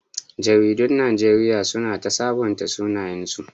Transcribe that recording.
Jaridun Najeriya su na ta sabunta sunayensu